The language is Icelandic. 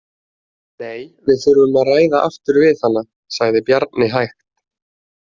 Nei, við þurfum að ræða aftur við hana, sagði Bjarni hægt.